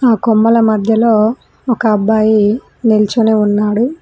ఆ కొమ్మల మధ్యలో ఒక అబ్బాయి నిల్చొని ఉన్నాడు.